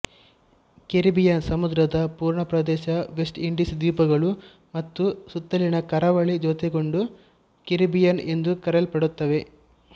Caribbean ಸಮುದ್ರದ ಪೂರ್ಣ ಪ್ರದೇಶ ವೆಸ್ಟ್ ಇಂಡೀಸ್ ದ್ವೀಪಗಳು ಮತ್ತು ಸುತ್ತಲಿನ ಕರಾವಳಿ ಜೊತೆಗೊಂಡು ಕೆರಿಬಿಯನ್ ಎಂದು ಕರೆಯಲ್ಪಡುತ್ತವೆ